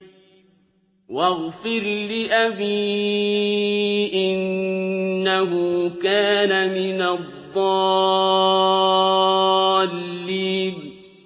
وَاغْفِرْ لِأَبِي إِنَّهُ كَانَ مِنَ الضَّالِّينَ